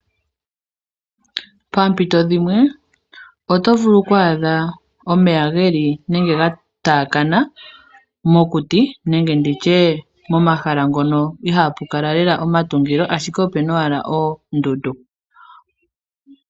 Pempito dhimwe otovulu oku adha omeya geli nenge gatakana mokuti nenge nditye momahala ngoka iha pukala lela omatungilo ashike opuna owala oondundu.